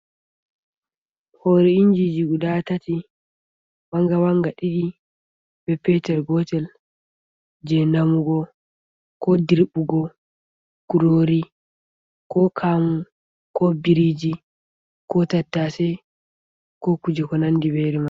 Hore injiji guda tati, wanga wanga ɗiɗi be petel gotel, je namugo, ko dirɓugo kurori, ko kamu, ko biriji, ko tattase ko kuje ko nandi be mai.